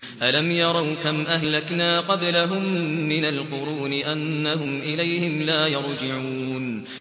أَلَمْ يَرَوْا كَمْ أَهْلَكْنَا قَبْلَهُم مِّنَ الْقُرُونِ أَنَّهُمْ إِلَيْهِمْ لَا يَرْجِعُونَ